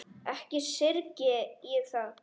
Ekki syrgi ég það.